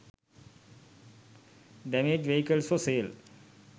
damaged vehicles for sale